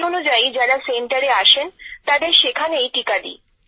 সেই অনুযায়ী যারা সেন্টারে আসেন তাদের সেখানেই টীকা দিই